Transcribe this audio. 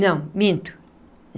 Não, minto.